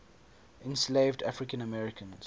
enslaved african americans